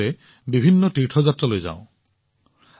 আমি সকলোৱে বিভিন্ন তীৰ্থযাত্ৰালৈ যাওঁ